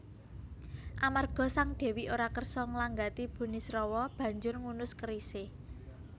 Amarga Sang Dèwi ora kersa nglanggati Burisrawa banjur ngunus kerisé